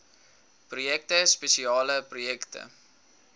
projekte spesiale projekte